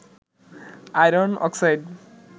iron oxide